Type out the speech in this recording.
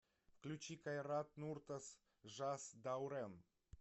включи кайрат нуртас жас даурен